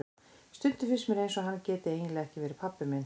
Stundum finnst mér eins og hann geti eiginlega ekki verið pabbi minn.